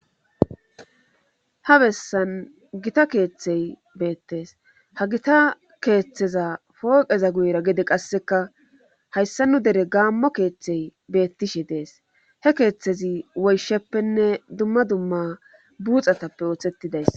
ha bessan gita keeththey beettees ha gita keeththeza fooqeza guyra gede qasseka hayssa nu dere gaammo keeththey beettishe dees he keeththezi woysheppenne dumma dumma buuxatappe ooththettidays